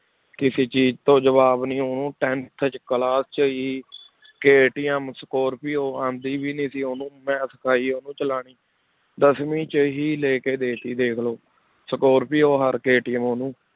ਕਿਸੇ ਚੀਜ਼ ਤੋਂ ਜਵਾਬ ਨੀ ਉਹਨੂੰ tenth 'ਚ class 'ਚ ਹੀ KTM ਸਕੋਰਪੀਓ ਆਉਂਦੀ ਵੀ ਨੀ ਸੀ ਉਹਨੂੰ, ਮੈਂ ਸਿਖਾਈ ਆ ਉਹਨੂੰ ਸਿਖਾਉਣੀ, ਦਸਵੀਂ 'ਚ ਹੀ ਲੈ ਕੇ ਦੇ ਦਿੱਤੀ ਦੇਖ ਲਓ, ਸਕੋਰਪੀਓ ਔਰ KTM ਉਹਨੂੰ